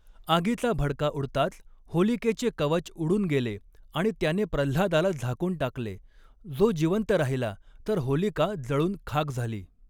आगीचा भडका उडताच, होलिकेचे कवच उडून गेले आणि त्याने प्रल्हादाला झाकून टाकले, जो जिवंत राहिला तर होलिका जळुन खाक झाली.